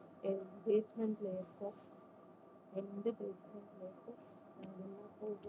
எ~ basement ல இருக்கோம் எந்~